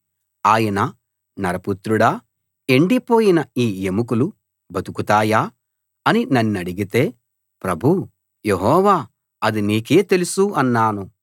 ఆయన నరపుత్రుడా ఎండిపోయిన యీ ఎముకలు బతుకుతాయా అని నన్నడిగితే ప్రభూ యెహోవా అది నీకే తెలుసు అన్నాను